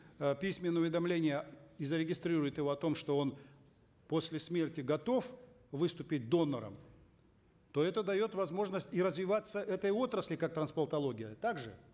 э письменное уведомление и зарегистрирует его о том что он после смерти готов выступить донором то это дает возможность и развиваться этой отрасли как трансплантология так же